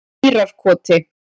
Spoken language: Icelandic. Mýrarkoti